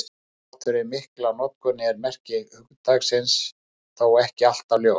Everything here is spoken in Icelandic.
Þrátt fyrir mikla notkun er merking hugtaksins þó ekki alltaf ljós.